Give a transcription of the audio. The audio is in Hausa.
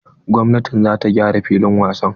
Gwamnatin za ta gyara filin wasa.